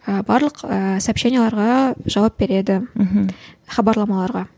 ы барлық ы сообщениелерге жауап береді мхм хабарламаларға